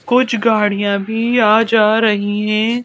कुछ गाड़ियां भी आ जा रही है।